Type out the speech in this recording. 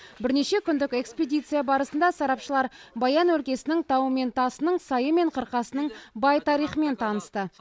бірнеше күндік экспедиция барысында сарапшылар баян өлкесінің тауы мен тасының сайы мен қырқасының бай тарихымен танысты